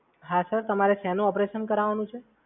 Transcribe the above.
હા સર તમારે શેનું ઓપરેશન કરાવવાનું છે?